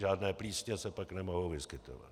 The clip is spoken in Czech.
Žádné plísně se pak nemohou vyskytovat.